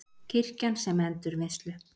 Kirkjan sem endurvinnslu